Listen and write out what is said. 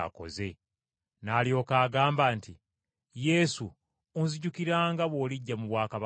N’alyoka agamba nti, “Yesu, onzijukiranga bw’olijja mu bwakabaka bwo.”